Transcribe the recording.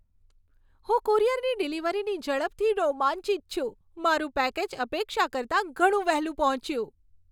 હું કુરિયરની ડિલિવરીની ઝડપથી રોમાંચિત છું. મારું પેકેજ અપેક્ષા કરતાં ઘણું વહેલું પહોંચ્યું!